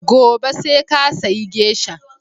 Gobe sai ka sayi Geisha!